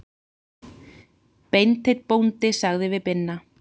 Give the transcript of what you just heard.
Beinteinn bóndi sagði við Binna